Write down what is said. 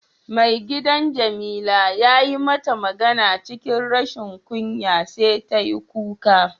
Maigidan jamila yayi mata magana cikin rashin kunya sai ta yi kuka.